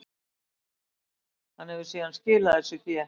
Hann hefur síðan skilað þessu fé